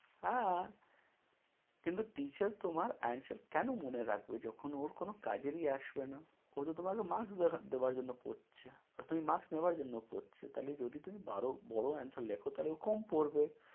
হ্যাঁ। কিন্তু teacher তোমার answer কেন মনে রাখবে যখন ওর কোন কাজেরই আসবে না? ও তো তোমাকে marks দেখ~ দেওয়ার জন্য পড়ছে। আর তুমি marks নেওয়ার জন্য পড়ছ। তাহলে যপদি তুমি বারো~ বড় answer লেখো তাহলে ও কম পড়বে।